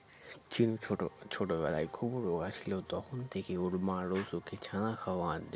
চিন ছোটো ছোটোবেলায় খুব রোগা ছিল তখন থেকেই ওর মা রোজ ওকে ছানা খাওয়ান